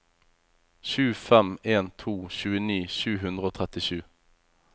sju fem en to tjueni sju hundre og trettisju